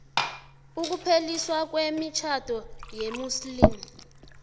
ukupheliswa kwemitjhado yesimuslimu